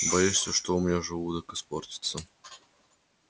боишься что у меня желудок испортится